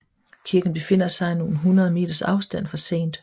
Kirken befinder sig i nogle hundrede meters afstand fra St